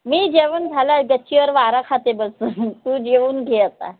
नाई जेवन झालाय गच्चीवर वारा खाते बसून तू जेऊन घे आता